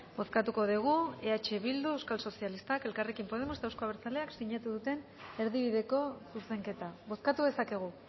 bozkatuko dugu eh bildu euskal sozialistak elkarrekin podemos eta euzko abertzaleak sinatu duten erdibideko zuzenketa bozkatu dezakegu